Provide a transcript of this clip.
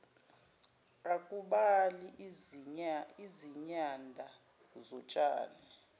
akubali izinyanda zotshani